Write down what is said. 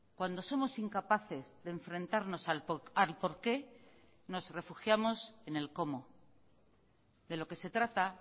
cuando somos incapaces de enfrentarnos al por qué nos refugiamos en el cómo de lo que se trata